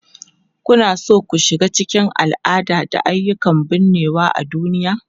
Kuna so ku shiga cikin al'ada da ayyukan binnewa a duniya?